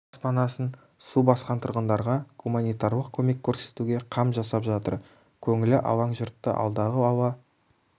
баспанасын су басқан тұрғындарға гуманитарлық көмек көрсетуге қам жасап жатыр көңілі алаң жұртты алдағы ауа